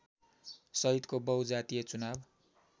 सहितको बहुजातीय चुनाव